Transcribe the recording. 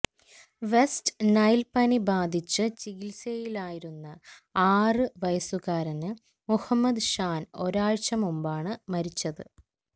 west Nile പനി ബാധിച്ച് ചികിത്സയിലായിരുന്ന ആറ് വയസ്സുകാരന് മുഹമ്മദ് ഷാന് ഒരാഴ്ച മുമ്പാണ് മരിച്ചത്